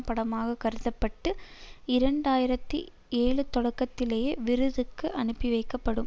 படமாக கருத பட்டு இரண்டு ஆயிரத்தி ஏழுதொடக்கத்திலேயே விருதுக்கு அனுப்பி வைக்கப்படும்